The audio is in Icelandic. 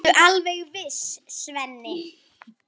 Ertu alveg viss, Svenni?